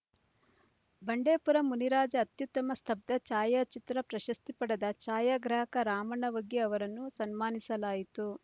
ಬಂಡೇಪುರ ಮುನಿರಾಜ ಅತ್ಯುತ್ತಮ ಸ್ಥಬ್ದ ಛಾಯಾಚಿತ್ರ ಪ್ರಶಸ್ತಿ ಪಡೆದ ಛಾಯಾಗ್ರಾಹಕ ರಾಮಣ್ಣ ವಗ್ಗಿ ಅವರನ್ನು ಸನ್ಮಾನಿಸಲಾಯಿತು